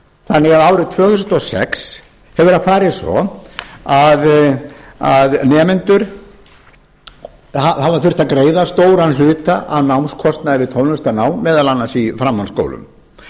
þannig að árið tvö þúsund og sex hefur það farið svo að nemendur hafa þurft að greiða stóran hluta af námskostnaði við tónlistarnám meðal annars í framhaldsskólum þetta er í